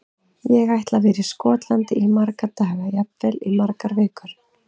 Ég ætla að vera í Skotlandi í marga daga, jafnvel í margar vikur.